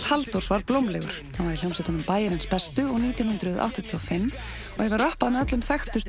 Halldórs var blómlegur hann var í hljómsveitunum Bæjarins bestu og nítján hundruð áttatíu og fimm og hefur rappað með öllum þekktustu